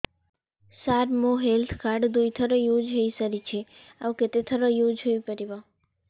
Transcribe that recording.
ସାର ମୋ health card ଦୁଇ ଥର ୟୁଜ଼ ହୈ ସାରିଛି ଆଉ କେତେ ଥର ୟୁଜ଼ ହୈ ପାରିବ